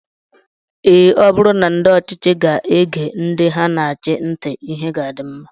Ee, ọ bụrụ na ndị ọchịchị ga-ege ndị ha na-achị ntị, ihe ga-adị mma